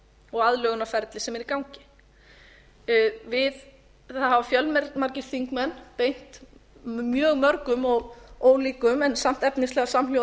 og aðlögunarferlið sem er í gangi það hafa fjölmargir þingmenn beint mjög mörgum og ólíkum en samt efnislega samhljóða